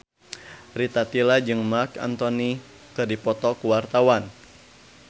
Rita Tila jeung Marc Anthony keur dipoto ku wartawan